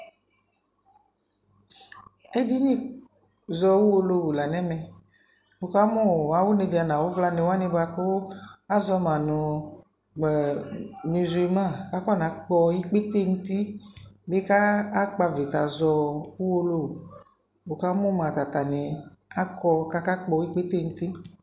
Ɛdini zɔ uwolowu la nɛ mɛWuka mu awu nedza na wu vla wani buaku azɔ ma nu muzul ma akɔ na kpɔ ikpete nu ti bi ka akpavita zɔ uwolowu Wu ka mu ma atani kɔ kaka kpɔ ikpete nu ti